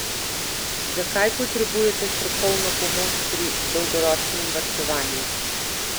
Zakaj potrebujete strokovno pomoč pri dolgoročnem varčevanju?